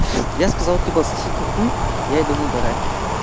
я сказал типа сосите хуй я иду на др